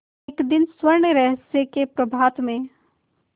एक दिन स्वर्णरहस्य के प्रभात में